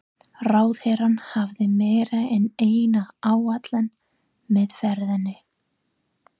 Ráðherrann hafði meira en eina ætlan með ferðinni.